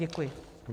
Děkuji.